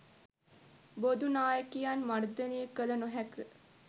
බොදු නායකයන් මර්දනය කළ නොහැක